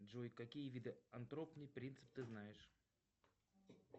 джой какие виды антропный принцип ты знаешь